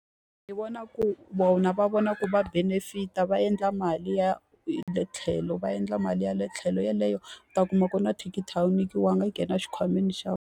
Ndzi vona ku vona va vona ku va benefit-a va endla mali ya hi le tlhelo, va endla mali ya le tlhelo. Yeleyo u ta kuma ku na thikithi a wu yikiwanga, yi nghena xikhwameni xa .